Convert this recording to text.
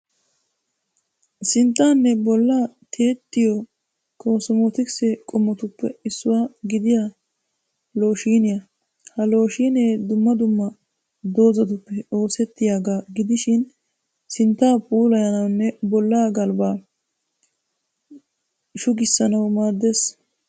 Sinttaanne bolla tiyettiyo kosmootikise qommotuppe issuwa gidiya looshiiniya. Ha looshiineedumma dumma doozzatuppe oosettiyaagaa gidishin sinttaa puulayanawunne bollaa galbbaa shugissanawu maaddes.